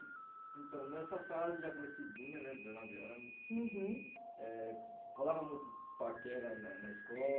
Então, nessa fase já crescidinha né, dezenove anos, uhum, eh rolava muito paquera na na